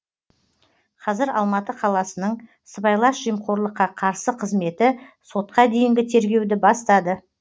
қазір алматы қаласының сыбайлас жемқорлыққа қарсы қызметі сотқа дейінгі тергеуді бастады